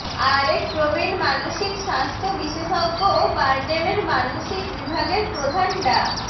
আরেক প্রবীণ মানসিক স্বাস্থ্য বিশেষজ্ঞ ও বারডেমের মানসিক বিভাগের প্রধান ডা